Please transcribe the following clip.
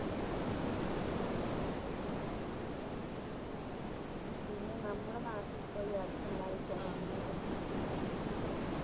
പിന്നെ നമ്മുടെ നാട്ടിത്തെ ഈയടുത്തിണ്ടായ കോറോണേനെക്കുറിച്ച് നമുക്ക് കൊറച്ച് സംസാരിക്കാം